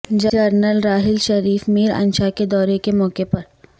general Raheel Sharif Miranshah کے دورے کے موقع پر